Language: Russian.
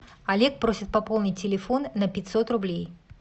олег просит пополнить телефон на пятьсот рублей